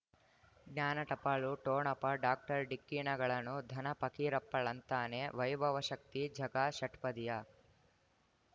ಜ್ಞಾನ ಟಪಾಲು ಠೋಣಪ ಡಾಕ್ಟರ್ ಢಿಕ್ಕಿ ಣಗಳನು ಧನ ಫಕೀರಪ್ಪ ಳಂತಾನೆ ವೈಭವ ಶಕ್ತಿ ಝಗಾ ಷಟ್ಪದಿಯ